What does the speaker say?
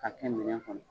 K'a kɛ minɛn kɔnɔ